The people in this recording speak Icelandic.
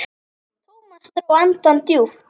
Thomas dró andann djúpt.